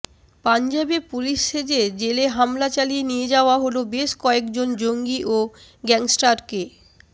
পাঞ্জাবে পুলিশ সেজে জেলে হামলা চালিয়ে নিয়ে যাওয়া হল বেশ কয়েকজন জঙ্গি ও গ্যাংস্টারকে